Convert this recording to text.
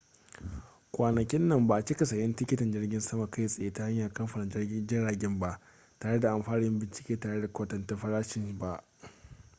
kwanakin nan ba a cika sayen tikitin jirgin sama kai tsaye ta hanyar kamfanin jiragen ba tare da an fara yin bincike tare da kwatanta farashin ba